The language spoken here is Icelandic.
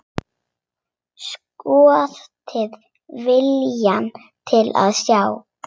Skortir viljann til að sjá.